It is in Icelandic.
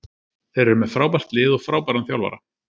Þeir eru með frábært lið og frábæran þjálfara.